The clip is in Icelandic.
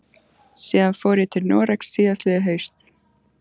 Síðan fór ég til Noregs síðastliðið haust.